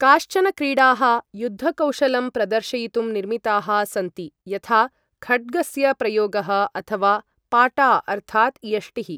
काश्चन क्रीडाः युद्धकौशलं प्रदर्शयितुं निर्मिताः सन्ति, यथा खड्गस्य प्रयोगः अथवा पाटा अर्थात् यष्टिः।